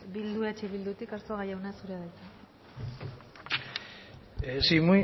bildu eh bildutik arzuaga jauna zurea da hitza sí